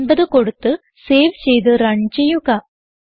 50 കൊടുത്ത് സേവ് ചെയ്ത് റൺ ചെയ്യുക